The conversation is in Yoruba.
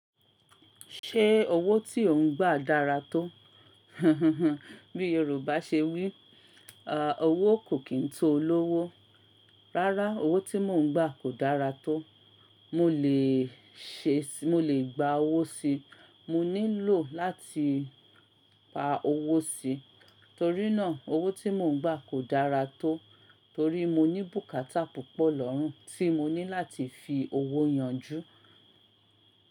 Ṣé owó tí ò ń gbà dára tó? Bí Yorùbá ṣe wí, à owó kò kín tó olówó. Rárá, owó tí mò ń gbà kò dára tó. Mo lè ṣe, mo lè gba owó si. Mo ní lò láti pa owó si. Torí náà owó tí mò ń gbà kò dára tó torí mo ní bùkátà púpọ̀ lọ́rùn tí mo ní láti fi owó yanjú.